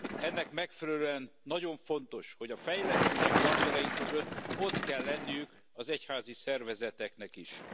Ennek megfelelően nagyon fontos, hogy a fejlesztési partnereink között ott legyenek az egyházi szervezetek is.